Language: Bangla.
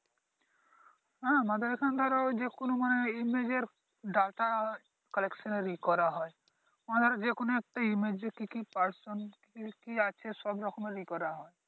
হ্যাঁ আমাদের এইখানে ধরো ঐযে কোন মানে Image এর Data collection এর ইয়ে করা হয় । মানে ধরো যেকোন একটা Image এর কি কি Person কি কি আছে সব রকমের ইয়ে করা হয় ।